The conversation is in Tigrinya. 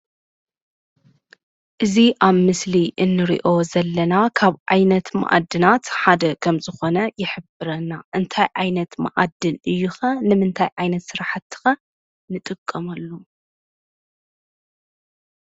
እዚ ኣብ ምስሊ እንሪኦ ዘለና ካብ ዓይነት መዓድናት ሓደ ከምዝኾነ ይሕብረና፡፡ እንታይ ዓይነት መዓድን እዩ ኸ? ንምንታይ ዓይነት ስራሕቲ ኸ ንጥቀመሉ?